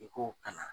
I k'o kalan